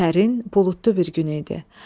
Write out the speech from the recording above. Sərin buludlu bir gün idi.